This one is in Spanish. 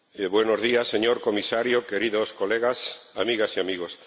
buenos días, señor Comisario, queridos colegas, amigas y amigos.